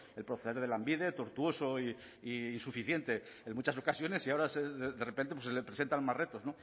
el proceder de lanbide tortuoso y suficiente en muchas ocasiones y ahora de repente se le presentan más retos